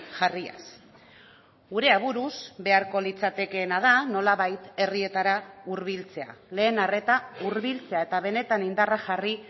jarriaz gure aburuz beharko litzatekeena da nolabait herrietara hurbiltzea lehen arreta hurbiltzea eta benetan indarra jarri